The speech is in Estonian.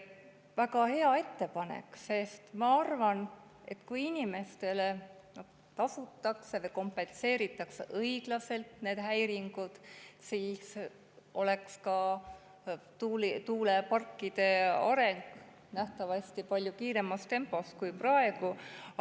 Väga hea ettepanek, sest ma arvan, et kui inimestele need häiringud õiglaselt kompenseeritaks, siis ka tuuleparkide areng nähtavasti palju kiiremas tempos kui praegu.